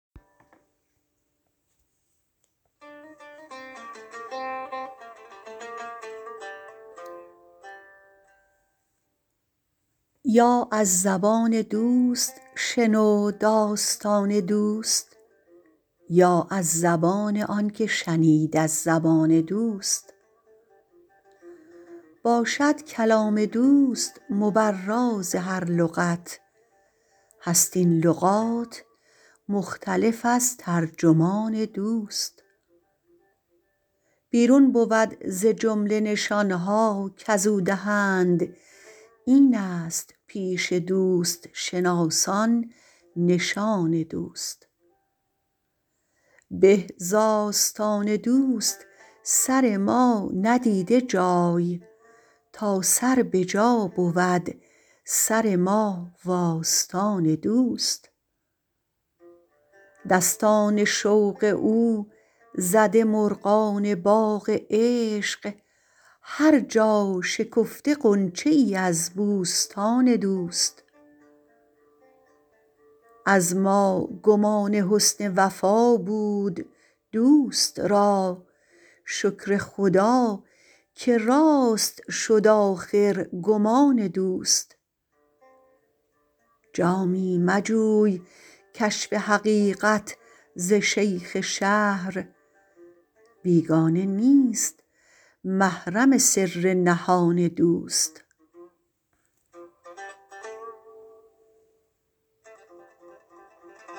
یا از زبان دوست شنو داستان دوست یا از زبان آن که شنید از زبان دوست باشد کلام دوست مبرا ز هر لغت هست این لغات مختلف از ترجمان دوست بیرون بود ز جمله نشانها کزو دهند اینست پیش دوست شناسان نشان دوست به ز آستان دوست سر ما ندیده جای تا سر به جا بود سر ما و آستان دوست دستان شوق او زده مرغان باغ عشق هر جا شکفته غنچه ای از بوستان دوست از ما گمان حسن وفا بود دوست را شکر خدا که راست شد آخر گمان دوست جامی مجوی کشف حقیقت ز شیخ شهر بیگانه نیست محرم سر نهان دوست